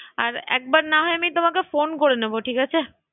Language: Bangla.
আর একবার না হয় আমি তোমাকে ফোন করে নেবো ঠিক আছে?